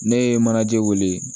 Ne ye manaje wele